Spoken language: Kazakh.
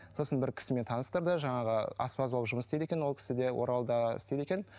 сосын бір кісімен таныстырды жаңағы аспаз болып жұмыс істейді екен ол кісі де оралда істейді екен